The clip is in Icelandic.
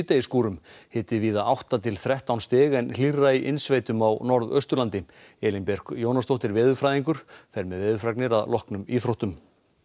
síðdegisskúrum hiti víða átta til þrettán stig en hlýrra í innsveitum á Norðausturlandi Elín Björk Jónasdóttir veðurfræðingur fer með veðurfregnir að loknum íþróttum